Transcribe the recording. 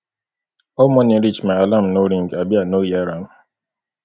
how morning reach my alarm no ring abi i no hear am